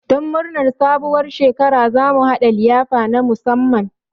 Don murnar sabuwar shekara, za mu haɗa liyafa na musamman.